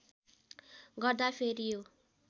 गर्दा फेरियो